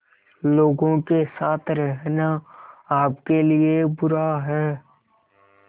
लोगों के साथ रहना आपके लिए बुरा है